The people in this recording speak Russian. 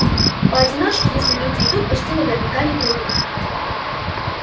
поодиночке если люди идут почти наверняка не пройдут